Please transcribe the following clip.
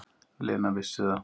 Lena vissi það.